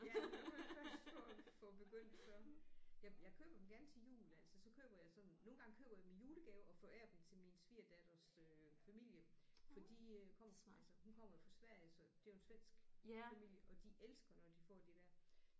Ja når du først får får begyndt så jeg jeg køber dem gerne til jul altså så køber jeg sådan nogle gange køber jeg i dem julegave og forærer dem til min svigerdatters øh familie for de øh kommer altså hun kommer jo fra Sverige så det er jo en svensk familie og de elsker når de får de der